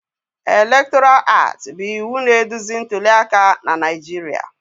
Electoral Act bụ iwu na-eduzi ntuli aka na Naijiria